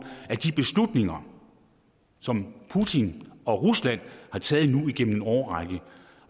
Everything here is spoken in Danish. af de beslutninger som putin og rusland har taget nu igennem en årrække